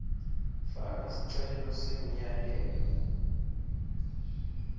faka sicelo semyalelo